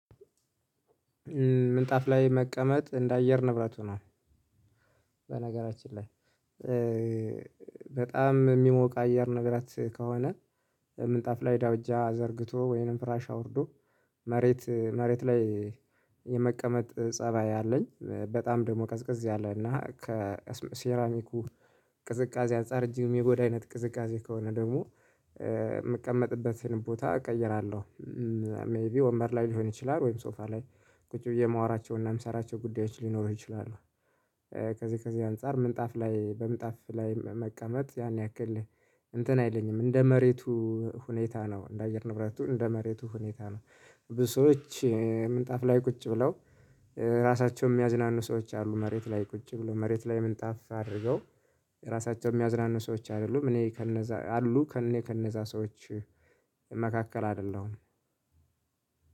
ምንጣፍ ላይ መቀመጥ እንደ አየር ንብረቱ ነው። በነገራችን ላይ በጣም ሚሞቅ አየር ነገራት ከሆነ ምንጣፍ ላይ ዳውጃ ዘርግቶ ወይንም ፍራሽ አውርዶ መሬት መሬት ላይ የመቀመጥ ፀባይ አለኝ በጣም ደግሞ ቀዝቅዝ ያለ እና ከሴራሚኩ ቅዝቃዜ አንፃር እጅግ ሚጎዳ አይነት ቅዝቃዜ ከሆነ ደግሞ ምቀመጥበትን ቦታ እቀይራለሁ። ሜይቢ ወንበር ላይ ሊሆን ይችላል ወይም ሶፋ ላይ ቁጭ ብዬ ማወራቸውና ምሰራቸው ጉዳዮች ሊኖረው ይችላሉ። ከዚህ ከዚህ አንፃር ምንጣፍ ላይ በምጣፍ ላይ መቀመጥ ያን ያክል እንትን አይለኝም እንደ መሬቱ ሁኔታ ነው እንደ አየር ንብረቱ እንደ መሬቱ ሁኔታ ነው። ብዙ ሰዎች ምንጣፍ ላይ ቁጭ ብለው ራሳቸውን ሚያዝናኑ ሰዎች አሉ መሬት ላይ ቁጭ ብለው መሬት ላይ ምንጣፍ አድርገው ራሳቸው ሚያዝናኑ ሰዎች አይደሉም። እኔ ከነዛ አሉ ከእኔ ከእነዛ ሰዎች መካከል አደለሁም።